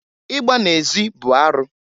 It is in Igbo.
Igba na-ezi bụ arụ.